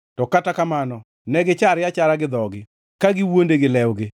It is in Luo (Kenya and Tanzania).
To kata kamano ne gichare achara gi dhogi, ka giwuonde gi lewgi.